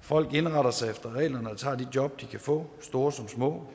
folk indretter sig efter reglerne og tager de job de kan få store som små